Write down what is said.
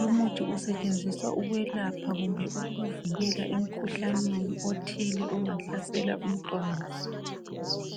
Lumuthi usetshenziswa ukwelapha kumbe ukuvikela emkhuhlaneni othile ongahlasela umntwana